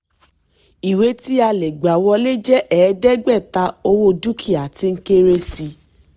ìwé tí a lè gbà wọlé jẹ́ ẹ̀ẹ́dẹ́gbẹ̀ta owó dúkìá tí ń kéré sí i.